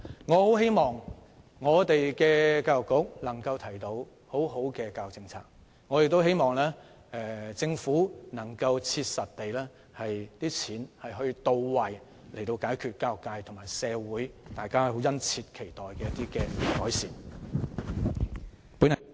我很希望教育局能提出好的教育政策，亦希望政府在使用公帑時能切實到位，以達致教育界和社會殷切期待的改善。